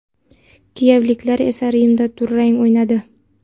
Kiyevliklar esa Rimda durang o‘ynadi.